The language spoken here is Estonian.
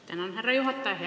Tänan, härra juhataja!